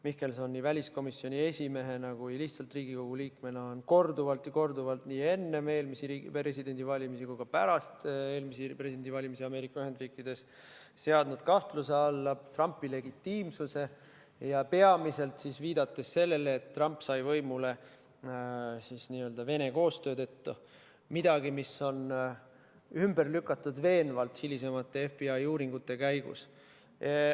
Mihkelson nii väliskomisjoni esimehena kui ka lihtsalt Riigikogu liikmena on korduvalt ja korduvalt, nii enne eelmisi presidendivalimisi kui ka pärast eelmisi presidendivalimisi Ameerika Ühendriikides seadnud kahtluse alla Trumpi legitiimsuse, peamiselt viidates sellele, et Trump sai võimule n-ö Vene koostöö tõttu, mis on veenvalt ümber lükatud hilisemate FBI uurimiste käigus.